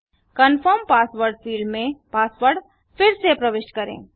confirm password field में password फिर से प्रविष्ट करें